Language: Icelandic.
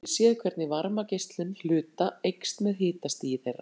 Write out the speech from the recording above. Með hitamyndavélum getum við séð hvernig varmageislun hluta eykst með hitastigi þeirra.